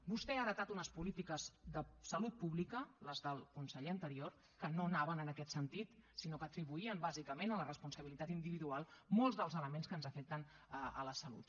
vostè ha heretat unes polítiques de salut pública les del conseller anterior que no anaven en aquest sentit sinó que atribuïen bàsicament a la responsabilitat individual molts dels elements que ens afecten la salut